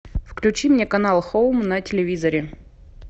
включи мне канал хоум на телевизоре